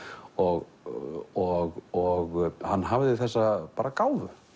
og og hann hafði þessa bara gáfu